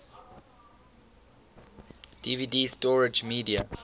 dvd storage media